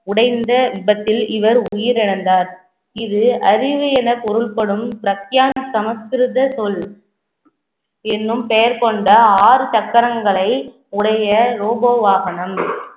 உடைந்த விபத்தில் இவர் உயிரிழந்தார் இது அறிவு என பொருள்படும் பிரத்தியான சமஸ்கிருத சொல் என்னும் பெயர் கொண்ட ஆறு சக்கரங்களை உடைய robo வாகனம்